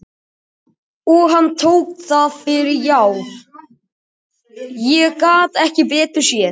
Og hann tók það fyrir já, ég gat ekki betur séð.